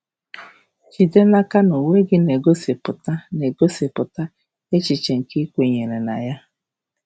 Jide n'aka na uwe gị na-egosipụta na-egosipụta echiche nke um ị kwenyere na ya!